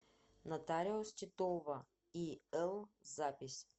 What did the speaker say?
нотариус титова ил запись